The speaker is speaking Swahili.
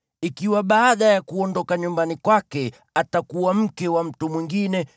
ikiwa baada ya kuondoka nyumbani kwake atakuwa mke wa mtu mwingine,